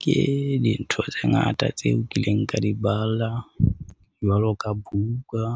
Ke dintho tse ngata tseo kileng ka di bala jwalo ka buka